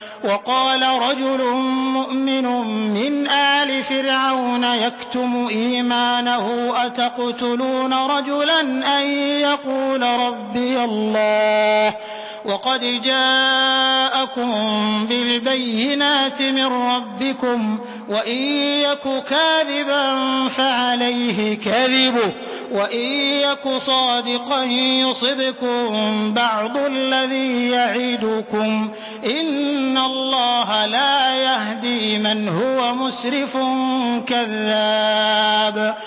وَقَالَ رَجُلٌ مُّؤْمِنٌ مِّنْ آلِ فِرْعَوْنَ يَكْتُمُ إِيمَانَهُ أَتَقْتُلُونَ رَجُلًا أَن يَقُولَ رَبِّيَ اللَّهُ وَقَدْ جَاءَكُم بِالْبَيِّنَاتِ مِن رَّبِّكُمْ ۖ وَإِن يَكُ كَاذِبًا فَعَلَيْهِ كَذِبُهُ ۖ وَإِن يَكُ صَادِقًا يُصِبْكُم بَعْضُ الَّذِي يَعِدُكُمْ ۖ إِنَّ اللَّهَ لَا يَهْدِي مَنْ هُوَ مُسْرِفٌ كَذَّابٌ